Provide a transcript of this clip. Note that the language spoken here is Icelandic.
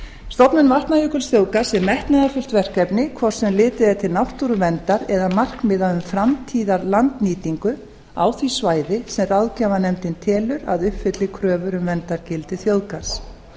stofnun vatnajökulsþjóðgarðs er metnaðarfullt verkefni hvort sem litið er til náttúruverndar eða markmiða um framtíðarlandnýtingu á því svæði sem ráðgjafarnefndin telur að uppfylli kröfur um verndargildi þjóðgarðs